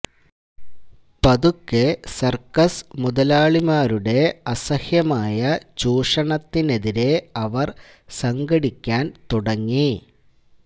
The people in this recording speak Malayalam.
പതുക്കെ സർക്കസ് മുതലാളിമാരുടെ അസഹ്യമായ ചൂഷണത്തിനെതിരെ അവർ സംഘടിക്കാൻ തുടങ്ങി